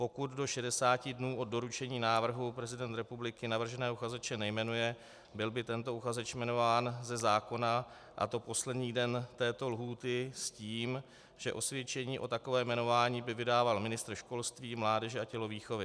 Pokud do 60 dnů od doručení návrhu prezident republiky navrženého uchazeče nejmenuje, byl by tento uchazeč jmenován ze zákona, a to poslední den této lhůty s tím, že osvědčení o takovém jmenování by vydával ministr školství, mládeže a tělovýchovy.